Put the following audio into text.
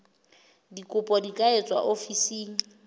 dikopo di ka etswa ofising